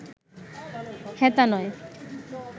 হেথা নয়